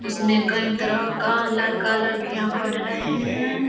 उसमे कई तरह का लड़का-लड़कियाँ पढ़ रहे है।